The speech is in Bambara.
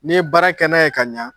N'i ye baara kɛ n'a ye ka ɲa